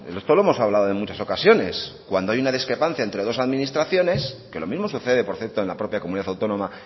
esto lo hemos hablado en muchas ocasiones cuando hay una discrepancia entre dos administraciones que lo mismo sucede por cierto en la propia comunidad autónoma